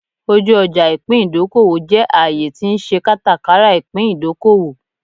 Oju oja ipin idokowo je aaye ti n se katakara ipin idokowo